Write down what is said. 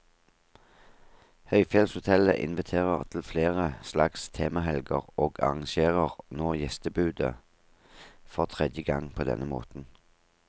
Høyfjellshotellet inviterer til flere slags temahelger, og arrangerer nå gjestebudet for tredje gang på denne måten.